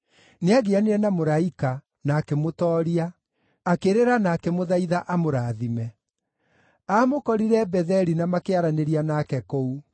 Nĩagianire na mũraika, na akĩmũtooria; akĩrĩra na akĩmũthaitha amũrathime. Aamũkorire Betheli na makĩaranĩria nake kũu: